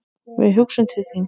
Við hugsum til þín.